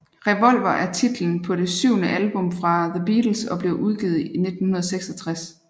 Revolver er titlen på det syvende album fra The Beatles og blev udgivet i 1966